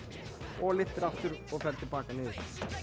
og lyftir aftur og ferð til baka niður